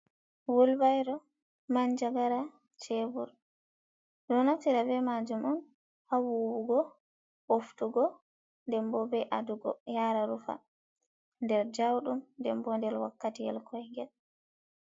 Wulbairo, manjagara, shebur, ɗo naftira be maajum on haa vuwugo, ɓoftugo, ndenbo be adugo yaha Rufa, nder ja'uɗum, ndembo nder wakkati yel koigel.